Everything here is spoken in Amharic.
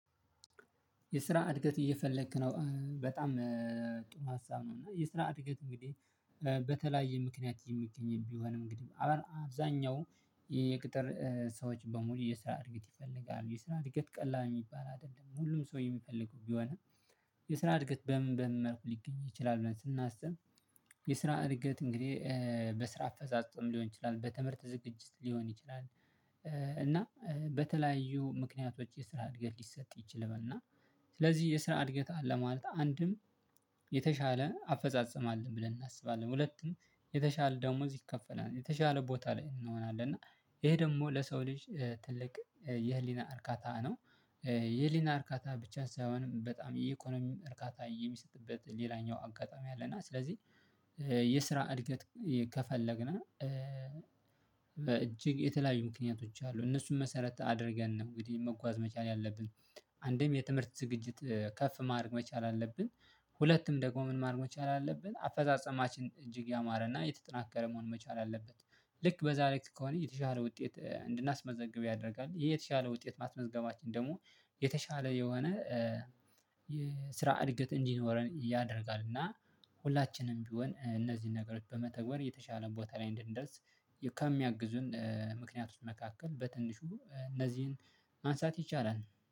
የስራ እድገት እየፈለክ ነው? በጣም ጥሩ ሀሳብ ነው እና የስራ እድገት እንግዲህ በተለያየ ምክንያት የሚገኝም ቢሆን እንግዲህ አብዛኛው የቅጥር ሰዎች በሙሉ የስራ እድገት ይፈልጋል የስራ እድገት ቀላል የሚባል አይደለም ሁሉም ሰው የሚፈልገው ቢሆንም የስራ እድገት በምን በምን መልኩ ሊገኝ ይችላል ብለን ስናስብ የስራ እድገት እንግዲህ በስራ አፈጻጸም ሊሆን ይችላል በትምህርት ዝግጅት ሊሆን ይችላል እና በተለያዩ ምክንያቶች የስራ እድገት ሊሰጥ ይችል እና ስለዚህ የስራ እድገት አለ ማለት አንድም የተሻለ አፈጻጸም አለን ብለን እናስባለን ሁለትም የተሻለ ደሞዝ ይከፈላል የተሻለ ቦታ ላይ እንሆናለን እና ይሄ ደግሞ ለሰው ልጅ ትልቅ የህሊና እርካታ ነው የህሊና እርካታ ብቻ ሳይሆንም በጣም የኢኮኖሚ እርካታ የሚሰጥበት ሌላኛው አጋጣሚ አለና ስለዚህ የስራ እድገት ከፈለግነ እጅግ የተለያዩ ምክንያቶች አሉ እነሱን መሰረት አድርገን ነው እንግዲህ መጓዝ መቻል ያለብን አንድም የትምህርት ዝግጅት ከፍ ማድረግ መቻል አለብን ሁለትም ደግሞ ምን ማድረግ መቻል አለብን አፈጻጸማችን እጅግ ያማረና የተጠናከረ መሆን መቻል አለበት ልክ በዛሬ ከሆነ የተሻለ ውጤት እንድናስመዘግብ ያደርጋል ይህ የተሻለ ውጤት ማስመዝገባችን ደግሞ የተሻለ የሆነ የስራ እድገት እንዲኖረን ያደርጋል እና ሁላችንም ቢሆን እነዚህን ነገሮች በመተግበር የተሻለ ቦታ ላይ እንድንደርስ ከሚያግዙን ምክንያተች መካከል በትንሹ እነዚህን ማንሳት ይቻላል